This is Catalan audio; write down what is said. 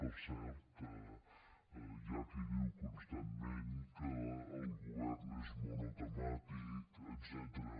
per cert hi ha qui diu constantment que el govern és monotemàtic etcètera